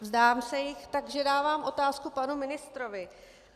Vzdám se jich, takže dávám otázku panu ministrovi.